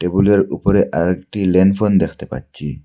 ফুলের উপরে আরেকটি ল্যান্ডফোন দেখতে পাচ্ছি।